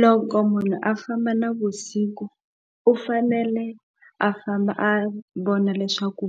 Loko munhu a famba navusiku u fanele a famba a vona leswaku